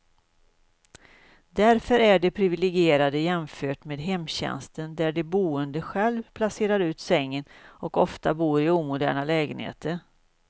Därför är de priviligierade jämfört med hemtjänsten där de boende själv placerar ut sängen, och ofta bor i omoderna lägenheter.